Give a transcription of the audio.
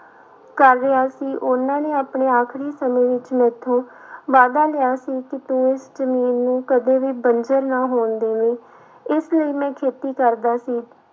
ਕਰ ਰਿਹਾ ਸੀ ਉਹਨਾਂ ਨੇ ਆਪਣੇ ਆਖਰੀ ਸਮੇਂ ਵਿੱਚ ਮੈਥੋਂ ਵਾਅਦਾ ਲਿਆ ਸੀ ਕਿ ਤੂੰ ਇਸ ਜ਼ਮੀਨ ਨੂੰ ਕਦੇ ਵੀ ਬੰਜ਼ਰ ਨਾ ਹੋਣ ਦੇਵੀਂ, ਇਸ ਲਈ ਮੈਂ ਖੇਤੀ ਕਰਦਾ ਸੀ।